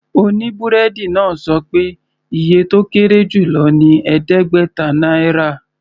Oníbúrẹ́dì náà sọ pé iye tó kéré jù lọ ní ẹ̀ẹ́dẹ́gbẹ̀ta náírà.